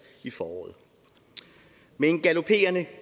i foråret med en galoperende